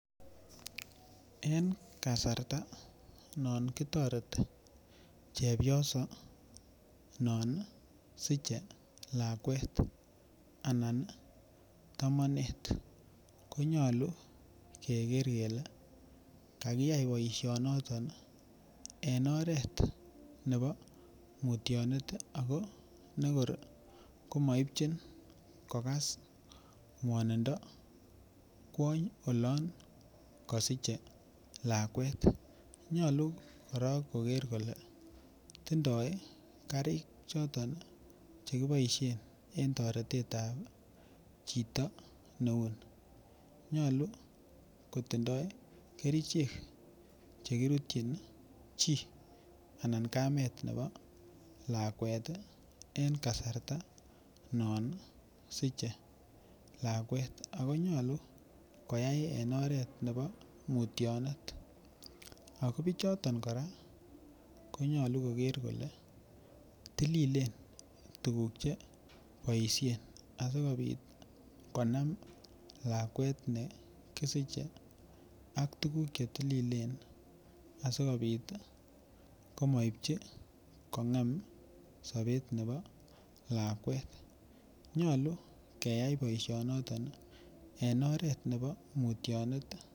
En kasarta non kitoreti chepyoso non siche lakwet anan tomonet ko nyolu keger kele kakiyai boisinoton en oret nebo mutyanet ago negor komaipchin kogas ngwanindo kwony olon kosiche lakwet nyolu korok koger kole tindoi karik choton Che kiboisien en toretet ab chito neu ni nyolu kotindoi kerichek Che kirutyin chi anan kamet nebo lakwet en kasarta non siche lakwet ako nyolu koyai en oret nebo mutyanet ago bichoton kora konyolu koger kole tililen tuguk Che boisien asikobit konam lakwet ne kisiche ak tuguk Che tililen asikobit komaipchi kongem sobet nebo lakwet nyolu keyai boisinoton en oret nebo mutyanet